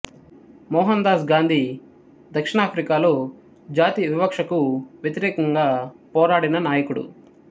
మోహన్ దాస్ గాంధీ దక్షిణాఫ్రికాలో జాతి వివక్షకు వ్యతిరేకంగా పోరాడిన నాయకుడు